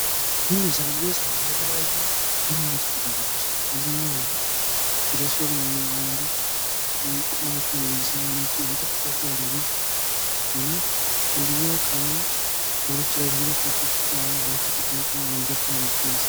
ይህ ምስል የሚያሳየው የተለያዩ ሃይማኖት ቅጠሎች ፤ አብዘሃኛዉን ጊዜ ወደ ሲኦል የሚመሩ ፤ ቆባቸዉን ለብሰው አይናቸውን ፈጠጥ ፈጠጥ ያደረጉ እና አንደኛው ከሌሎች ከፍታ ቦታ ላይ፣ ወንበር ላይ ተቀምጦ ያለ ሰው።